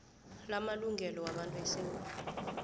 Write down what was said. lamalungelo wabantu esewula